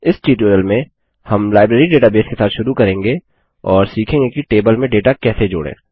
इस ट्यूटोरियल में हम लाइब्रेरी डेटाबेस के साथ शुरू करेंगे और सीखेंगे कि टेबल में डेटा कैसे जोड़ें